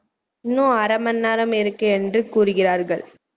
. இன்னும் அரை மணி நேரமிருக்கு என்று கூறுகிறார்கள்